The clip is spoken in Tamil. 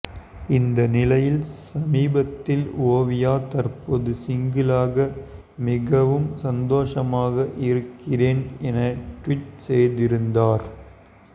இந்த நிலையில் சமீபத்தில் ஓவியா தற்போது சிங்கிளாக மிகவும் சந்தோஷமாக இருக்கிறேன் என டுவிட் செய்திருந்தார்